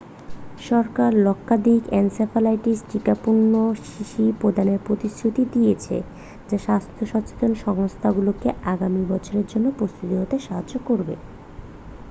সরকার লক্ষাধিক এনসেফ্যালাইটিস টিকাপূর্ণ শিশি প্রদানের প্রতিশ্রুতি দিয়েছে যা স্বাস্থ্য সচেতন সংস্থাগুলিকে আগামী বছরের জন্য প্রস্তুত হতে সাহায্য করবে